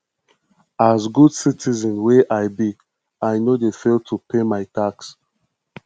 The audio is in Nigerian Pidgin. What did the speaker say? as good citizen wey i be i no dey fail to pay my tax